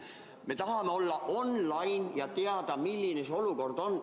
Me tahame olla online ja teada, milline olukord on.